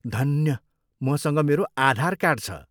धन्य, मसँग मेरो आधार कार्ड छ।